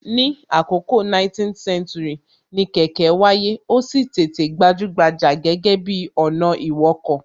Ní àkọkọ 19th century, ni kẹ̀kẹ́ wáyé, ó sì tètè gbajúgbajà gẹ́gẹ́ bi ọ̀nà ìwọkọ̀